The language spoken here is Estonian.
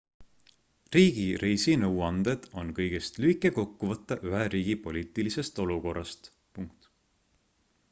riigi reisinõuanded on kõigest lühike kokkuvõte ühe riigi poliitilisest olukorrast